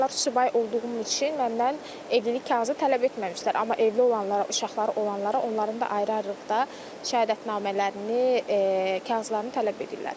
O zamanlar subay olduğum üçün məndən evlilik kağızı tələb etməmişdilər, amma evli olanlara, uşaqları olanlara onların da ayrı-ayrılıqda şəhadətnamələrini, kağızlarını tələb edirlər.